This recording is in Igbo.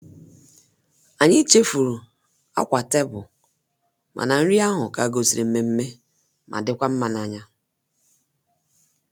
Anyị chefuru akwa tebul, mana nri ahụ ka gosiri nmemme ma dịkwa mma n'anya.